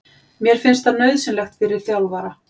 Mér finnst það nauðsynlegt fyrir þjálfara.